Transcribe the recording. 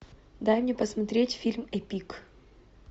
дай мне посмотреть фильм эпик